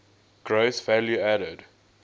gross value added